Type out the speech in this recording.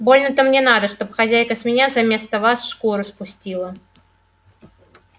больно-то мне надо чтоб хозяйка с меня заместо вас шкуру спустила